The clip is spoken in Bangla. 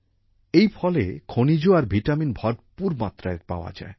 এই ফলে খনিজ আর ভিটামিন ভরপুর মাত্রায় পাওয়া যায়